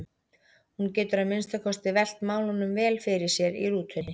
Hún getur að minnsta kosti velt málunum vel fyrir sér í rútunni.